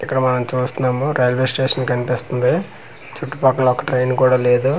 ఇక్కడ మనం చూస్తున్నాము రైల్వే స్టేషన్ కనిపిస్తుంది చుట్టూ పక్కల ఒక ట్రైన్ కూడా లేదు.